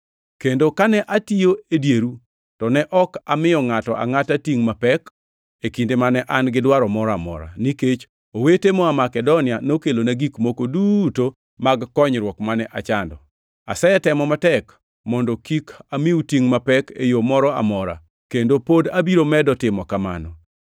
Kendo kane atiyo e dieru, to ne ok amiyo ngʼato angʼata tingʼ mapek e kinde mane an gi dwaro moro amora, nikech owete moa Makedonia nokelona gik moko duto mag konyruok mane achando. Asetemo matek mondo kik amiu tingʼ mapek e yo moro amora, kendo pod abiro medo timo kamano.